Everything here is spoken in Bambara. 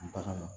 Bagan